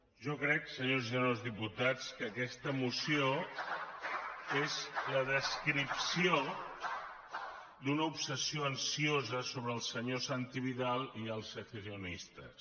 jo crec senyores i senyors diputats que aquesta moció és la descripció d’una obsessió ansiosa sobre el senyor santi vidal i els secessionistes